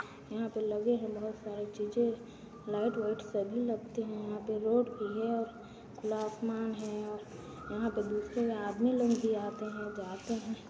यहाँ पर लगे है बहुत सारी चीज़ें लाइट व्हाइट सभी लगते है यहाँ पर रोड भी है और खुला आसमान है और यहाँ पर देखिए आदमी लोग भी आते है जाते है।